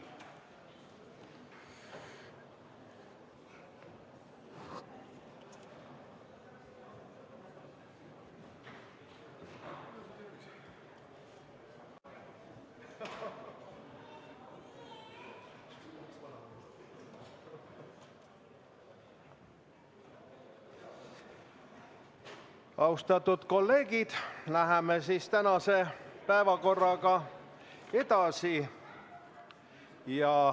Austatud kolleegid, läheme tänase päevakorraga edasi.